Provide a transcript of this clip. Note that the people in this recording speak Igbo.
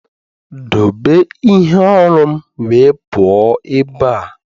Doobe ihe oru'm wee puo ebe a!